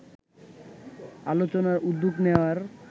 আলোচনার উদ্যোগ নেয়ার